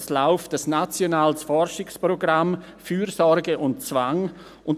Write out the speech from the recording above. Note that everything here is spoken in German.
Es läuft ein nationales Forschungsprogramm «Fürsorge und Zwang».